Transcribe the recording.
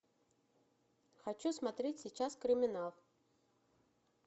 хочу смотреть сейчас криминал